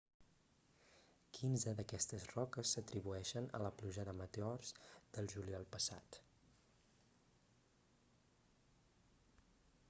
quinze d'aquestes roques s'atribueixen a la pluja de meteors del juliol passat